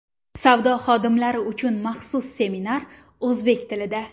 Savdo xodimlari uchun maxsus seminar o‘zbek tilida!